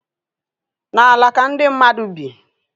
N'ala ka ndị mmadụ bi